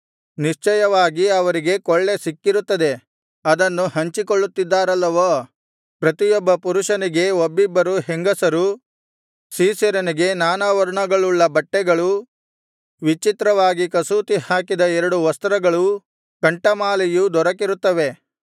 ನಿಶ್ಚಯವಾಗಿ ಅವರಿಗೆ ಕೊಳ್ಳೆ ಸಿಕ್ಕಿರುತ್ತದೆ ಅದನ್ನು ಹಂಚಿಕೊಳ್ಳುತ್ತಿದ್ದಾರಲ್ಲವೋ ಪ್ರತಿಯೊಬ್ಬ ಪುರುಷನಿಗೆ ಒಬ್ಬಿಬ್ಬರು ಹೆಂಗಸರೂ ಸೀಸೆರನಿಗೆ ನಾನಾ ವರ್ಣಗಳುಳ್ಳ ಬಟ್ಟೆಗಳೂ ವಿಚಿತ್ರವಾಗಿ ಕಸೂತಿಹಾಕಿದ ಎರಡು ವಸ್ತ್ರಗಳೂ ಕಂಠಮಾಲೆಯೂ ದೊರಕಿರುತ್ತವೆ